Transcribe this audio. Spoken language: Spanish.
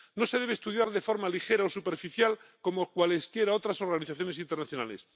No se debe estudiar de forma ligera o superficial, como cualesquiera otras organizaciones internacionales.